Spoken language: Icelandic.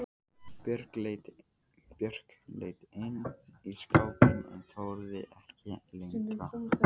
Björg leit inn í skápinn en þorði ekki lengra.